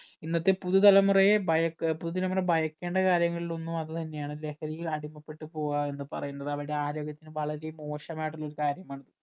ഇന്നത്തെ പുതു തലമുറയെ ഭയക്ക് പുതിയ തലമുറയെ ഭയക്കേണ്ട കാര്യങ്ങളിൽ ഒന്ന് അത് തന്നെ ആണ് ലഹരിയിൽ അടിമപ്പെട്ട പോവുക എന്നുപറയുന്നത് അവരുടെ ആരോഗ്യത്തിന് വളരെ മോശമായിട്ടുള്ള ഒരു കാര്യമാണ്